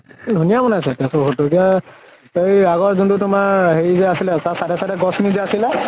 ধুনীয়া বনাইছে এতিয়া এই আগৰ যোন টো তোমাৰ হেৰি যে আছিলে তাৰ side এ side এ গছ খিনি যে আছিলে